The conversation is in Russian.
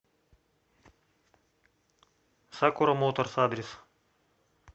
сакура моторс адрес